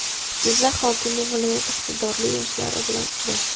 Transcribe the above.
Jizzax hokimi viloyat iqtidorli yoshlari bilan uchrashdi.